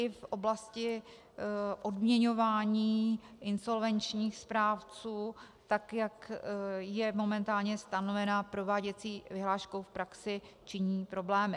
I v oblasti odměňování insolvenčních správců tak, jak je momentálně stanovena prováděcí vyhláškou v praxi, činí problémy.